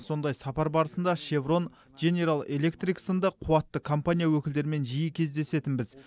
сондай сапар барысында шеврон дженерэл электрик сынды қуатты компания өкілдерімен жиі кездесетінбіз